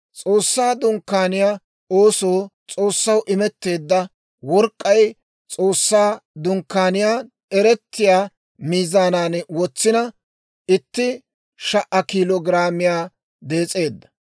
S'oossaa Dunkkaaniyaa oosoo S'oossaw imetteedda work'k'ay S'oossaa Dunkkaaniyaan eretiyaa miizaanan wotsina, itti sha"a kiilo giraamiyaa dees'eedda.